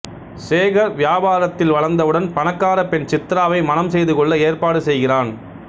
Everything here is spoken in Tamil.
சேகர் வியாபாரத்தில் வளர்ந்தவுடன் பணக்காரப் பெண் சித்ராவை மணம் செய்துகொள்ள ஏற்பாடு செய்கிறான்